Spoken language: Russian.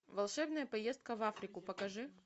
волшебная поездка в африку покажи